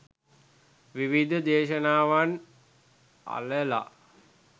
විවිධ දේශනාවන් අළලා